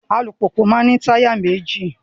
Alùpùpù maa n ní táyà méjì